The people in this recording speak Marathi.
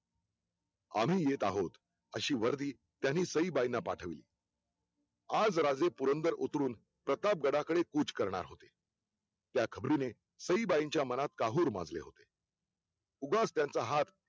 आम्ही येत आहोत अशी वर्दी त्यांनी सईबाईंना पाठवली आज राजे पुरंदर उतरून प्रतापगडाकडे पूच करणार होते क्या खबरीने साई बाईंच्या मनात काहूर माजले होते उगाच त्यांचा हात